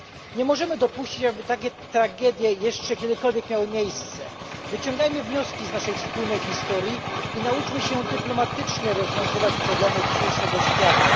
Nie możemy dopuścić, aby takie tragedie miały jeszcze kiedykolwiek miejsce. Wyciągajmy wnioski z naszej wspólnej historii i nauczmy się dyplomatycznie rozwiązywać problemy dzisiejszego świata.